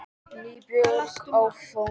NÝBORG Á FJÓNI